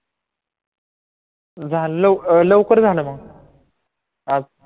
झालं लव लवकर झालं मग आज